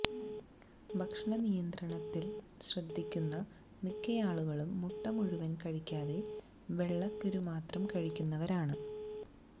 ഭക്ഷണ നിയന്ത്രണത്തിൽ ശ്രദ്ധിക്കുന്ന മിക്കയാളുകളും മുട്ട മുഴുവൻ കഴിക്കാതെ വെള്ളക്കരുമാത്രം കഴിക്കുന്നവരാണ്